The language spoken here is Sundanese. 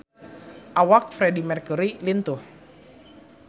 Awak Freedie Mercury lintuh